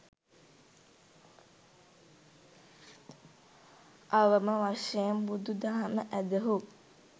අවම වශයෙන් බුදු දහම ඇදහූ